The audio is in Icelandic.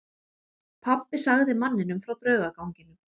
Pabbi sagði manninum frá draugaganginum.